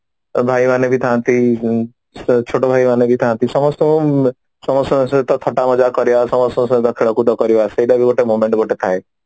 ଏ ଭାଇ ମାନେ ବି ଥାନ୍ତି ହୁଁ ଛୋଟ ଭାଇ ମାନେବି ଥାନ୍ତି ସମସ୍ତେ ସମସ୍ତଙ୍କ ସହିତ ଥଟା ମଜା କରିବା ସହ ସହିତ ଖେଳକୁଦ କରିବା ସହିତ ଗୋଟେ ଥାଏ